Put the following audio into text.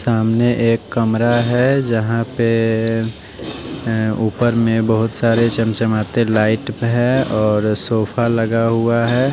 सामने एक कमरा है जहां पेए अ ऊपर में बहोत सारे चमचमाते लाइट है और सोफा लगा हुआ है।